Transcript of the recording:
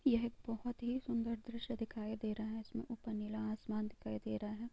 यह एक बोहोत ही सुंदर द्रश्य दिखाई दे रहा है| इसमे ऊपर नीला आसमान दिखाई दे रहा है।